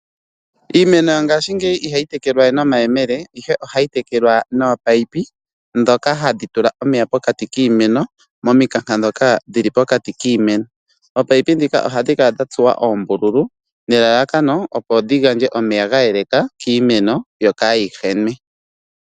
Iimeno yongashingeyi ihayi tekelwa ye nomayemele ihe ohayi tekelwa noopayipi, ndhoka hadhi tula omeya pokati kiimeno momikanka dhoka dhili pokati kiimeno. Oopayipi dhika ohadhi kala dha tsuwa oombululu nelalakono opo dhi gandje omeya ga yeleka kiimeno yo ka yihenwe.